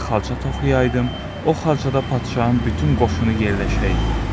Mən xalça toxuyaydım, o xalçada padşahın bütün qoşunu yerləşəydi.